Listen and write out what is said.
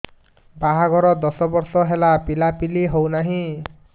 ବାହାଘର ଦଶ ବର୍ଷ ହେଲା ପିଲାପିଲି ହଉନାହି